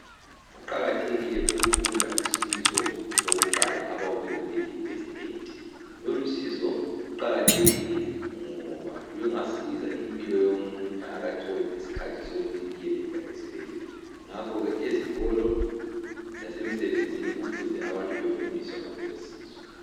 Kuqakathekile ukufunda usizo lokuqala abalubiza ngokuthi yi First Aid. Lolusizo luqakathekile ngoba lungasiza impilo yomuntu engakatholi iskhathi sokuyofika esibhedlela, ngakhoke ezikolo lasemsebenzini kumele abantu befundiswe ngalolu sizo.